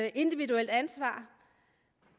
et individuelt ansvar